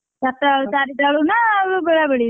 ଚାରିଟା ଚାରିଟା ବେଳକୁ ନା ବେଳାବେଳି?